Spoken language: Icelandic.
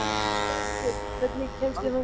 Berghreinn, hvernig kemst ég þangað?